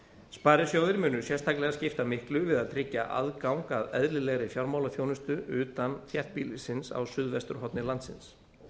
sparisjóðir munu sérstaklega skipta miklu við að tryggja aðgang að eðlilegri fjármálaþjónustu utan þéttbýlisins á suðvesturhorni landsins